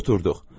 Oturduq.